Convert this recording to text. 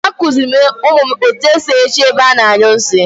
A kuziiri m umu m etu e si ehicha ebe a na-anyu nsi